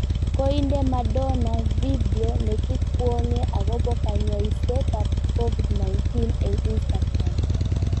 Koinde Madona video ne kikwong'e akobo kanyaiset ab Covid 19 eng Instakram